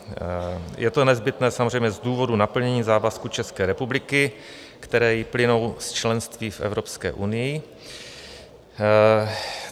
Je to nezbytné samozřejmě z důvodu naplnění závazků České republiky, které jí plynou z členství v Evropské unii.